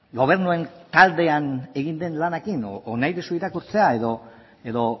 gobernuaren taldean egin den lanarekin edo nahi duzu irakurtzea